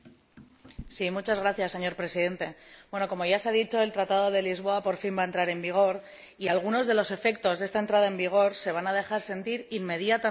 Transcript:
Señor Presidente, como ya se ha dicho, el Tratado de Lisboa por fin va a entrar en vigor y algunos de los efectos de esta entrada en vigor se van a dejar sentir inmediatamente después de su firma